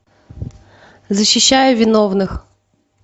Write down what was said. защищая виновных